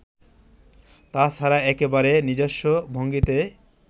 তা ছাড়া একেবারে নিজস্ব ভঙ্গিতে